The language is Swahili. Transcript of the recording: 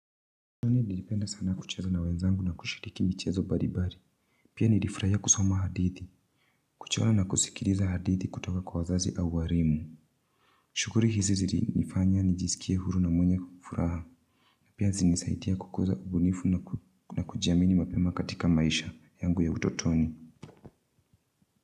Mimi nilipenda sana kucheza na wenzangu na kushiriki michezo mbalimbali. Pia nilifurahiya kusoma hadithi. Kuchora na kusikiliza hadithi kutoka kwa wazazi au walimu. Shughuli hizi zilinifanya nijiskie huru na mwenya furaha. Pia zilinisaidia kukuza ubunifu na kujiamini mapema katika maisha yangu ya utotoni.